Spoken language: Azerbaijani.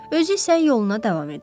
Özü isə yoluna davam edir.